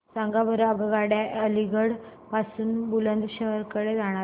सांगा बरं आगगाड्या अलिगढ पासून बुलंदशहर कडे जाणाऱ्या